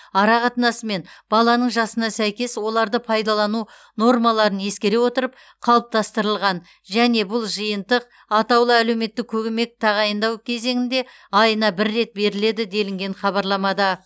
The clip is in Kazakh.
арақатынасы мен баланың жасына сәйкес оларды пайдалану нормаларын ескере отырып қалыптастырылған және бұл жиынтық атаулы әлеуметтік көмек тағайындау кезеңінде айына бір рет беріледі делінген хабарламада